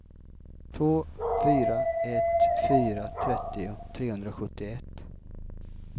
två fyra ett fyra trettio trehundrasjuttioett